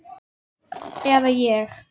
Eða ég.